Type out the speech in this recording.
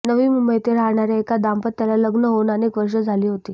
नवी मुंबई येथे राहणाऱ्या एका दाम्पत्याला लग्न होऊन अनेक वर्षे झाली होती